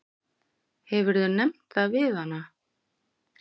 Hefurðu nefnt það við hana?